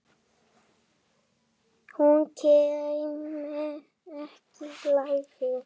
Hún kæmi þá líklega aftur.